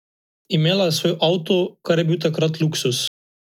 Imela je svoj avto, kar je bil takrat luksuz.